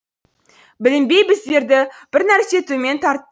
білінбей біздерді бір нәрсе төмен